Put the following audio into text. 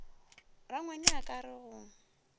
rangwane a ka re go